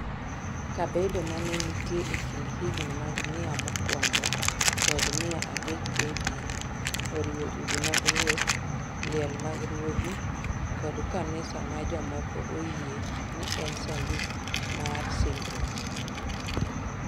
Kabedo ma ne nitie e kind higni mag 100 mokwongo kod mar adek AD, oriwo udi mag ruoth, liel mag ruodhi kod kanisa ma jomoko oyie ni en Sanduku mar Singruok.